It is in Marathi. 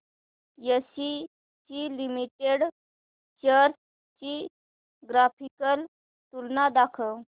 एसीसी लिमिटेड शेअर्स ची ग्राफिकल तुलना दाखव